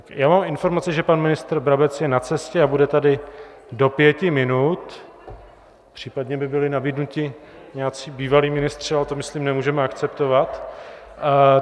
Já mám informace, že pan ministr Brabec je na cestě a bude tady do pěti minut, případně mi byli nabídnuti nějací bývalí ministři, ale to myslím nemůžeme akceptovat.